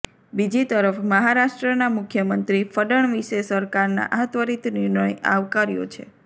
બીજી તરફ મહારાષ્ટ્રના મુખ્યમંત્રી ફડણવીશે સરકારના આ ત્વરીત નિર્ણય આવકાર્યો છે